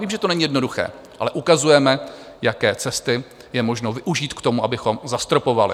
Vím, že to není jednoduché, ale ukazujeme, jaké cesty je možno využít k tomu, abychom zastropovali.